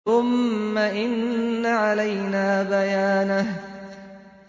ثُمَّ إِنَّ عَلَيْنَا بَيَانَهُ